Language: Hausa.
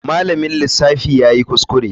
Malamin lissafi yayi kuskure.